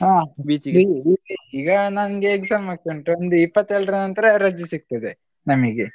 ಹಾ ಈಗ ನನ್ಗೆ exam ಆಗ್ತಾ ಉಂಟು ಒಂದು ಇಪ್ಪತ್ತೇಳ್ ರ ನಂತರ ರಜೆ ಸಿಗ್ತದೆ ನಮಿಗೆ